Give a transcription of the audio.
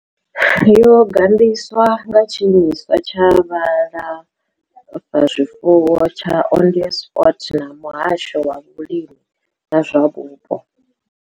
Yo gandiswa nga Tshiimiswa tsha Vhulafha zwifuwo tsha Onderstepoort na Muhasho wa Vhulimi na zwa Vhupo.